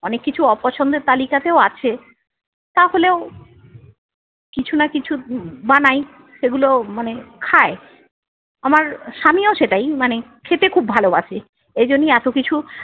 অনেক কিছু অপছন্দের তালিকাতেও আছে। তাহলেও কিছু না কিছু উম বানাই সেগুলো মানে খায়। আমার স্বামীও সেটাই মানে খেতে খুব ভালোবাসে। এজন্যই এত কিছু-